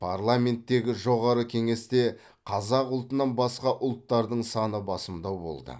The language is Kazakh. парламенттегі жоғары кеңесте қазақ ұлтынан басқа ұлттардың саны басымдау болды